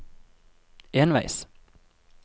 enveis